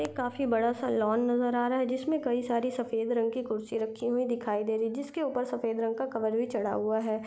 एक काफी बड़ासा लॉन नज़र आ रहा है जिसमें कई सारे सफ़ेद रंग के खुर्सी रखी हुई दिखाई दे रही है जिसके ऊपर सफ़ेद रंग का कवर भी चढा हुआ है।